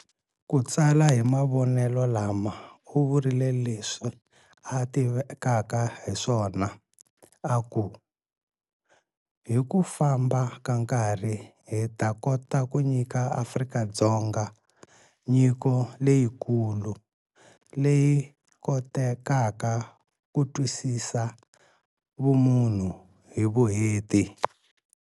Ku tsala hi mavonelo lama, u vurile leswi a tivekaka hiswona a ku- Hi ku famba ka nkarhi hi ta kota ku nyika Afrika-Dzonga nyiko leyikulu leyi kotekaka ku twisisa vumunhu hi vuenti.